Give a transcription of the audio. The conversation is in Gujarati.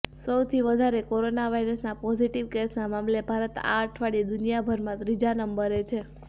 સૌથી વધારે કોરોના વાયરસના પોઝિટિવ કેસના મામલે ભારત આ અઠવાડિયે દુનિયામાં ત્રીજા નંબરે છે